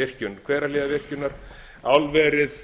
virkjun hverahlíðarvirkjun álverið